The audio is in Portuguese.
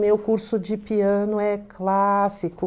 Meu curso de piano é clássico.